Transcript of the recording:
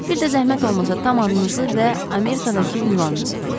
Bir də zəhmət olmasa tam adınızı və Amerikadakı ünvanınızı deyin.